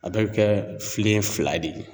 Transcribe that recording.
A bɛɛ bɛ kɛ filen fila de ye.